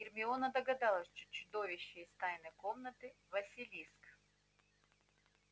гермиона догадалась что чудовище из тайной комнаты василиск